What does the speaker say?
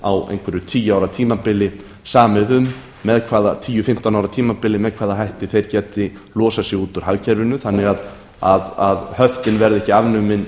á einhverju tíu ára tímabili samið með hvaða hætti þeir geti losað sig út úr hagkerfinu þannig að höftin verði ekki afnumin